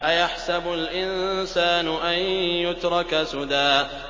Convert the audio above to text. أَيَحْسَبُ الْإِنسَانُ أَن يُتْرَكَ سُدًى